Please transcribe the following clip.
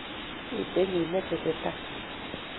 Mito kiy ne tesetai